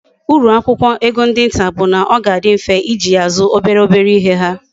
Uru akwukwo ego ndi nta bu na oga adi mfe iji ya azu obere obere ihe ha